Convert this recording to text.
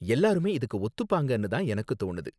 எல்லாருமே இதுக்கு ஒத்துப்பாங்கன்னு தான் எனக்கு தோணுது.